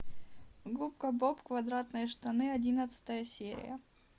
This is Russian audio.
губка боб квадратные штаны одиннадцатая серия